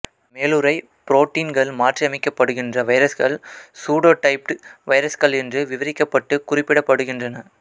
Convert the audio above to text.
மேலுறை புரோட்டீன்கள் மாற்றியமைக்கப்படுகின்ற வைரஸ்கள் சூடோடைப்டு வைரஸ்கள் என்று விவரிக்கப்பட்டு குறிப்பிடப்படுகின்றன